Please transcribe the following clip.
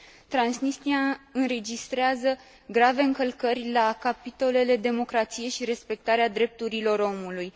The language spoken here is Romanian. Transnistria înregistrează grave încălcări la capitolele democrație și respectarea drepturilor omului.